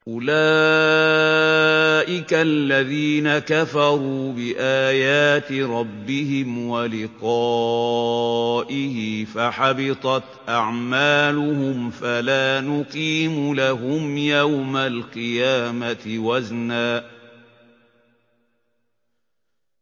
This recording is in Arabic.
أُولَٰئِكَ الَّذِينَ كَفَرُوا بِآيَاتِ رَبِّهِمْ وَلِقَائِهِ فَحَبِطَتْ أَعْمَالُهُمْ فَلَا نُقِيمُ لَهُمْ يَوْمَ الْقِيَامَةِ وَزْنًا